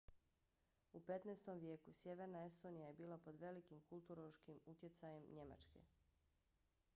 u 15. vijeku sjeverna estonija je bila pod velikim kulturološkim utjecajem njemačke